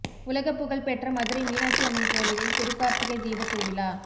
உலகப்புகழ் பெற்ற மதுரை மீனாட்சி அம்மன் கோவிலில் திருக்கார்த்திகை தீபத் திருவிழா